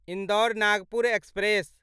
Indore Nagpur express